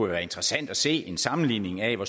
være interessant at se en sammenligning af hvor